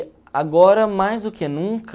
agora, mais do que nunca...